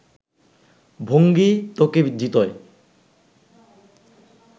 ভঙ্গি তোকে জিতোয়